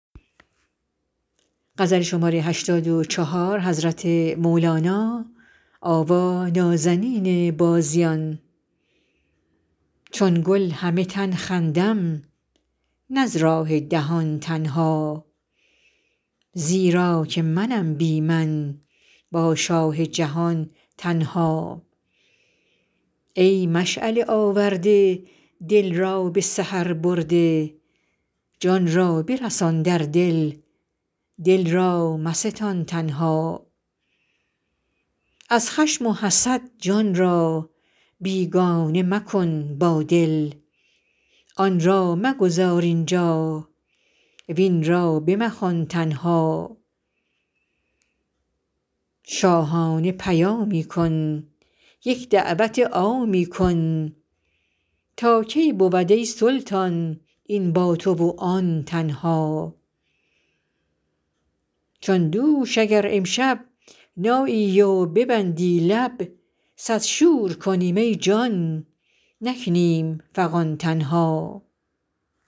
چون گل همه تن خندم نه از راه دهان تنها زیرا که منم بی من با شاه جهان تنها ای مشعله آورده دل را به سحر برده جان را برسان در دل دل را مستان تنها از خشم و حسد جان را بیگانه مکن با دل آن را مگذار اینجا وین را بمخوان تنها شاهانه پیامی کن یک دعوت عامی کن تا کی بود ای سلطان این با تو و آن تنها چون دوش اگر امشب نایی و ببندی لب صد شور کنیم ای جان نکنیم فغان تنها